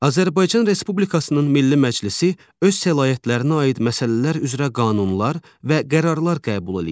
Azərbaycan Respublikasının Milli Məclisi öz səlahiyyətlərinə aid məsələlər üzrə qanunlar və qərarlar qəbul eləyir.